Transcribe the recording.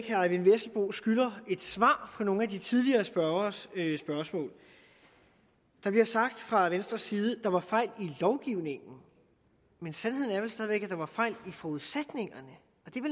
eyvind vesselbo skylder et svar på nogle af de tidligere spørgeres spørgsmål det bliver sagt fra venstres side at der var fejl i lovgivningen men sandheden er vel stadig væk at der var fejl i forudsætningerne